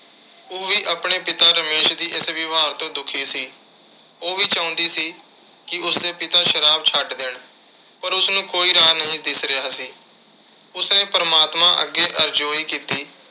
ਉਹ ਵੀ ਆਪਣੇ ਪਿਤਾ ਰਮੇਸ਼ ਦੇ ਇਸ ਵਿਵਹਾਰ ਤੋਂ ਦੁਖੀ ਸੀ। ਉਹ ਵੀ ਚਾਹੁੰਦੀ ਸੀ ਕਿ ਉਸਦੇ ਪਿਤਾ ਸ਼ਰਾਬ ਛੱਡ ਦੇਣ। ਪਰ ਉਸਨੂੰ ਕੋਈ ਰਾਹ ਨਹੀਂ ਦਿਖ ਰਿਹਾ ਸੀ। ਉਸਨੇ ਪਰਮਾਤਮਾ ਅੱਗੇ ਅਰਜ਼ੋਈ ਕੀਤੀ